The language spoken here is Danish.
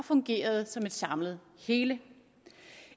fungerede som et samlet hele